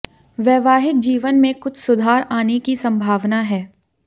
वैवाहिक जीवन में कुछ सुधार आने की संभावना है